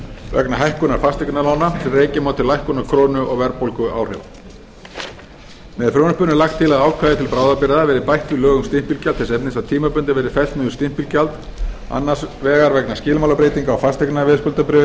vegna hækkunar fasteignalána sem rekja má til lækkunar krónu og verðbólguáhrifa með frumvarpinu er lagt til að ákvæði til bráðabirgða verði bætt við lög um stimpilgjald þess efnis að stimpilgjald verði fellt niður tímabundið annars vegar vegna skilmálabreytinga á fasteignaveðskuldabréfum